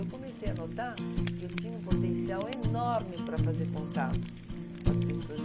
Eu comecei a notar que eu tinha um potencial enorme para fazer contato, uhum, com as pessoas.